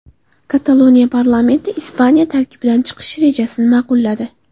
Kataloniya parlamenti Ispaniya tarkibidan chiqish rejasini ma’qulladi.